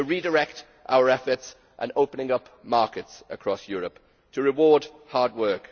to redirect our efforts and open up markets across Europe to reward hard work.